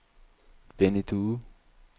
Benny Due